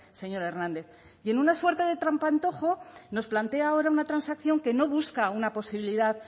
señor hernández y en una suerte de trampantojo nos plantea ahora una transacción que no busca una posibilidad